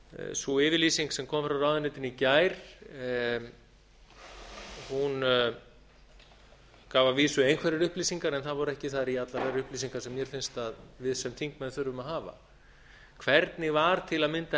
sú yfirlýsing sem kom frá ráðuneytinu í gær gaf að vísu einhverjar upplýsingar en það voru ekki þar í allar þær upplýsingar sem mér finnst að við sem þingmenn þurfum að hafa hvernig var til að mynda